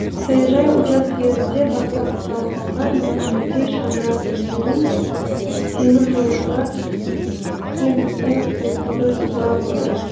саяжай учаскелерінде баспана салып алған екі жүздей шаңырақ өздерін теміржолшылар кентіне қосуды сұрап отыр